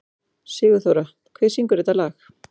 Sigurþóra, hver syngur þetta lag?